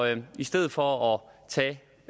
at man i stedet for